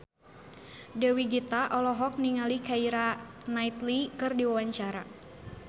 Dewi Gita olohok ningali Keira Knightley keur diwawancara